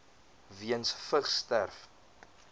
weens vigs sterf